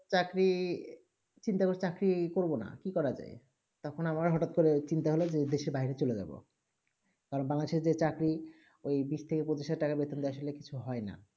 চাকরি চিন্তা কর চাকরি করবো না কি করা আছে তখন হ্যাক আবার চিন্তা করলাম দেশে বাইরে চলে যাবো আর বাংলাদেশে যে চাকরি ঐই বিষ থেকে পঁচিশ হাজার থাকায় বেতন এ আসলে কিছু হয়ে না